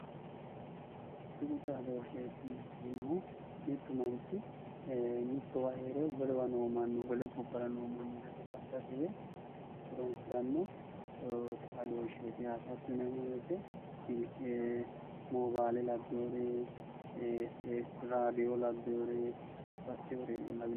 Tuqu xadooshshe xadosheetti yineemmohu mittu manchi wole gobbara noo manchi ledo xaadate yee horoonsirannoreeti lawishshaho silke radoone lawinoreeti